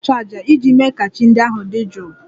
Ònye ga-achụ àjà iji mee ka chi ndị ahụ dị jụụ?